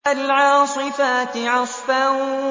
فَالْعَاصِفَاتِ عَصْفًا